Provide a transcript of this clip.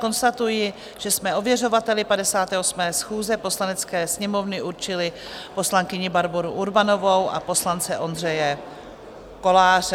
Konstatuji, že jsme ověřovateli 58. schůze Poslanecké sněmovny určili poslankyni Barboru Urbanovou a poslance Ondřeje Koláře.